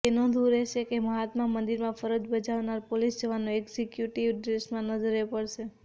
તો નોંધવું રહેશે કે મહાત્મા મંદિરમાં ફરજ બજાવનાર પોલીસ જવાનો એક્ઝિક્યુટીવ ડ્રેસમાં નજરે પડશે